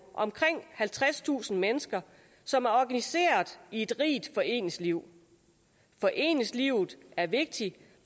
omkring halvtredstusind mennesker som er organiseret i et rigt foreningsliv foreningslivet er vigtigt